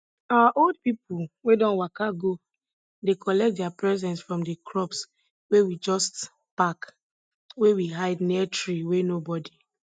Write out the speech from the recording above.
our old people wey don waka go dey collect their presents from di crops wey we just pack wey we hide near tree wey nobody